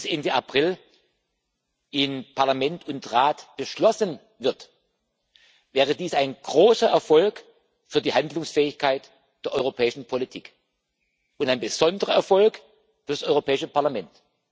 Ende April in Parlament und Rat beschlossen wird, wäre dies ein großer Erfolg für die Handlungsfähigkeit der europäischen Politik und ein besonderer Erfolg für das Europäische Parlament.